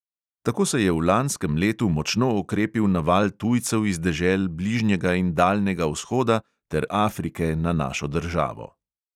Tako se je v lanskem letu močno okrepil naval tujcev iz dežel bližnjega in daljnega vzhoda ter afrike na našo državo.